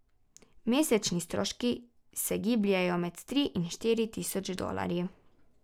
Mesečni stroški se gibljejo med tri in štiri tisoč dolarji.